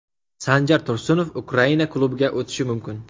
Sanjar Tursunov Ukraina klubiga o‘tishi mumkin.